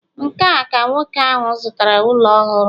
nke a ka nwoke ahụ zụtara ụlọ ọhụrụ